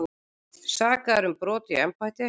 Sakaðir um brot í embætti